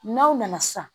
N'aw nana sisan